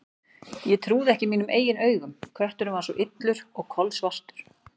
Ég trúði ekki mínum eigin augum: kötturinn var svo illur og kolsvartur.